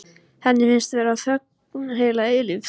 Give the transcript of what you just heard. Henni finnst vera þögn heila eilífð.